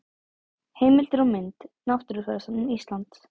Heimildir og mynd: Náttúrufræðistofnun Íslands.